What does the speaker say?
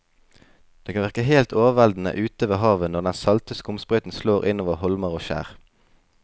Det kan virke helt overveldende ute ved havet når den salte skumsprøyten slår innover holmer og skjær.